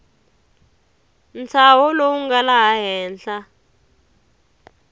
ntshaho lowu nga laha henhla